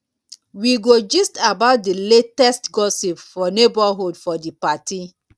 we go gist about di latest gossip for neighborhood for di party.